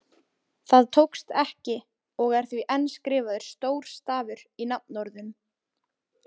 Það tókst ekki og er því enn skrifaður stór stafur í nafnorðum.